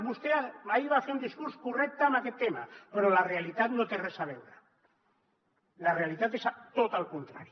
vostè ahir va fer un discurs correcte en aquest tema però la realitat no hi té res a veure la realitat és tot el contrari